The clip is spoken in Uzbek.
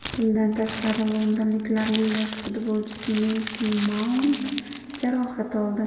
Bundan tashqari londonliklarning yosh futbolchisi Meyson Maunt jarohat oldi.